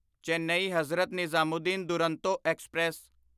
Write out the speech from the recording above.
Chennai Hazrat Nizamuddin Duronto express